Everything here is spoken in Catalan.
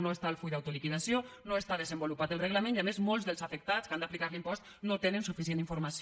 no està el full d’autoliquidació no està desenvolupat el reglament i a més molts dels afectats que han d’aplicar l’impost no tenen suficient informació